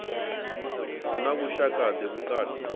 hu na vhushaka ḓe vhukati